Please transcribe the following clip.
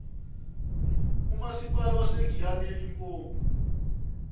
umasipala wasegiyani elimpopo